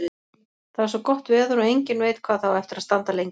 Það er svo gott veður og enginn veit hvað það á eftir að standa lengi.